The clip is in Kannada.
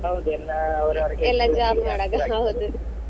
ಹೌದು ಎಲ್ಲ ಅವರವರ .